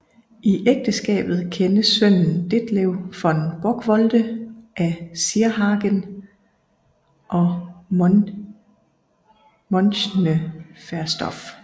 I ægteskabet kendes sønnen Detlev von Bockwolde af Sierhagen og Mönchneverstorf